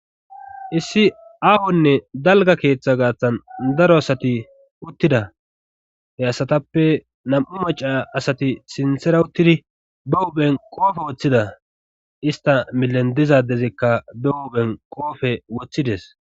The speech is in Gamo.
Issi aahonne dalga keeththa gaaththan daro asati uttida he asatappe nam'u maca asati sinthera uttidi ba huben qoofe woththida ista milen dizadezikka be huben qoofe woththides